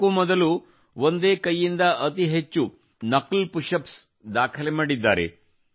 ಇದಕ್ಕೂ ಮೊದಲು ಒಂದೇ ಕೈಯಿಂದ ಅತಿ ಹೆಚ್ಚು ನಕಲ್ ಪುಶ್ ಅಪ್ಸ್ ದಾಖಲೆ ಮಾಡಿದ್ದಾರೆ